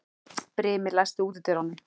Brimi, læstu útidyrunum.